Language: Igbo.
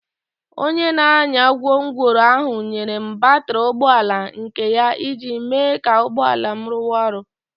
Onye na-anya gwongworo ahụ nyere m batrị ụgbọ ala nke ya iji mee ka ụgbọ ala m ruwa oru.